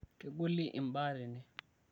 kegoli mbaa tene